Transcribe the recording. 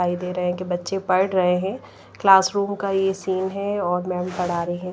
दिखाई दे रहे हैं कि बच्चे पढ़ रहे हैं क्लासरूम का यह सीन है और--